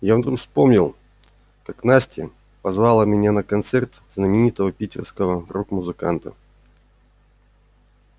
я вдруг вспомнил как настя позвала меня на концерт знаменитого питерского рок-музыканта